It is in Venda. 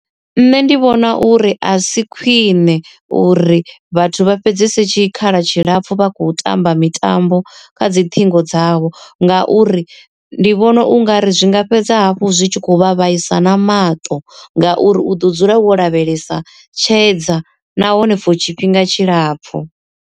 Nṋe ndi vhona uri a si khwine uri vhathu vha fhedzese tshikhala tshilapfu vha khou tamba mitambo kha dzi ṱhingo dzavho, nga uri ndi vhona ungari zwinga fhedza hafhu zwi tshi khou vha vhaisa na maṱo ngauri u ḓo dzula wo lavhelesa tshedza nahone for tshifhinga tshilapfu.